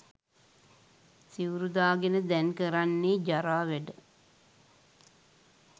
සිවුරු දාගෙන දැන් කරන්නේ ජරා වැඩ